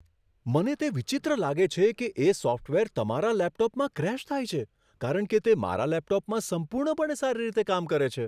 મને તે વિચિત્ર લાગે છે કે એ સોફ્ટવેર તમારા લેપટોપમાં ક્રેશ થાય છે, કારણ કે તે મારા લેપટોપમાં સંપૂર્ણપણે સારી રીતે કામ કરે છે.